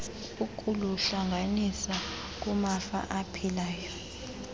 ukuluhlanganisa kumafa aphilayo